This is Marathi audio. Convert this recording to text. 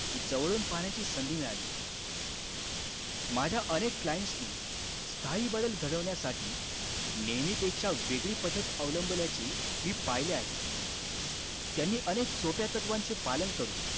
जवळून पाहण्याची संधी मिळाली. माझ्या अनेक clients नि स्थायी बदल घडवण्यासाठी, नेहमीपेक्षा वेगळी पद्धत अवलंबल्याची मी पहिले आहे. त्यांनी अनेक सोप्या तत्वांचे पालन करून,